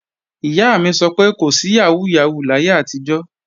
Ìyá mi sọ pé kò sí yàhóó yàhóó láyé àtijọ́